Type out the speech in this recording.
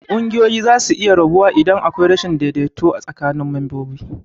Kunguyoyi zasu iya rabuwa idan akwai rashin daidaito tsakinin mambobinsu.